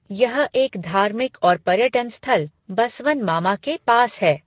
यह एक धार्मिक और पर्यटन स्थल 'बसवन मामा' के पास है।